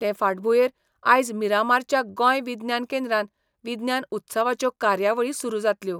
ते फाटभुंयेर आयज मिरामारच्या गोंय विज्ञान केंद्रान विज्ञान उत्सवाच्यो कार्यावळी सुरू जातल्यो.